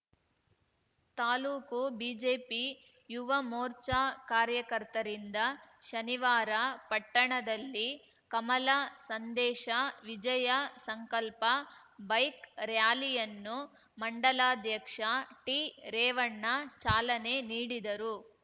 taluk BJP Yuva Morcha ಕಾರ್ಯಕರ್ತರಿಂದ ಶನಿವಾರ ಪಟ್ಟಣದಲ್ಲಿ ಕಮಲ ಸಂದೇಶ ವಿಜಯ ಸಂಕಲ್ಪ ಬೈಕ್‌ ರಾರ‍ಯಲಿಯನ್ನು ಮಂಡಲಾಧ್ಯಕ್ಷ ಟಿರೇವಣ್ಣ ಚಾಲನೆ ನೀಡಿದರು